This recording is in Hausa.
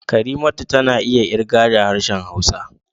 Karimatu tana iya ƙirga da harshen Hausa